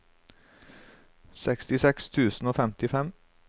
sekstiseks tusen og femtifem